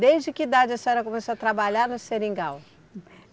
Desde que idade a senhora começou a trabalhar no seringal?